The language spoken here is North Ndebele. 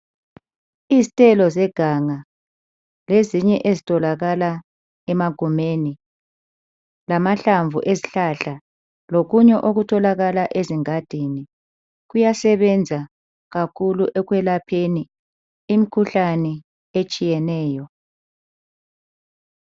Izithelo zeganga lezinye ezitholakala emagumeni lamahlamvu ezihlahla lokunye okutholakala ezingadini kuyasebenza kakhulu ekwelapheni imikhuhlane etshiyeneyo